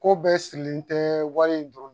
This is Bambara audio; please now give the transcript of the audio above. Ko bɛɛ sirilen tɛ wari in dɔrɔn ma